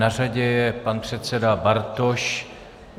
Na řadě je pan předseda Bartoš.